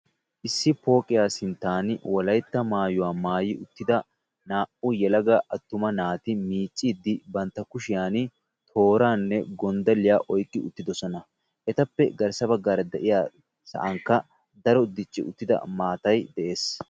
Issi pooqqiya sinttan Wolaytta maayuwa maayida uttida naa''u yelaga attuma naati miiccide bantta kushiyaan tooranne gonddalliyaa oyqqi uttidosoona, etappe garssa baggaara de'iya sa'ankka daro dicci uttida maatay de'ees.